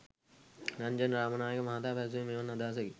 රන්ජන් රාමනායක මහතා පැවසුවේ මෙවන් අදහසකි